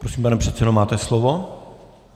Prosím, pane předsedo, máte slovo.